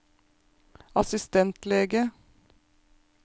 assistentlege